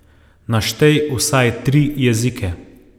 Naštej vsaj tri jezike.